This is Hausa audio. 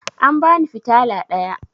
An bani fitala ɗaya